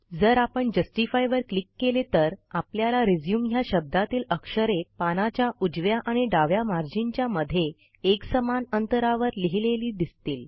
जर आपण जस्टिफाय वर क्लिक केले तर आपल्याला रिझ्यूम ह्या शब्दातील अक्षरे पानाच्या उजव्या आणि डाव्या मार्जिनच्या मध्ये एकसमान अंतरावर लिहिलेली दिसतील